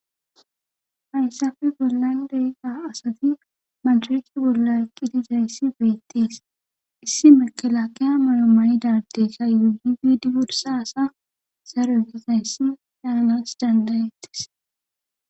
hayssafe bollayndeyga asati mandharehi bolla eqqitizayssi beettis issi makelakeya maro mayi dardessa yuyi gidi wursa asa zaro eggesayssi yaanas dandayettis